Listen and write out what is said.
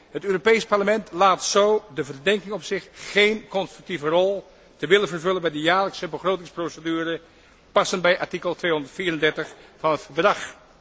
Het Europees Parlement laadt zo de verdenking op zich geen constructieve rol te willen vervullen bij de jaarlijkse begrotingsprocedure, passend bij artikel 234 van het Verdrag.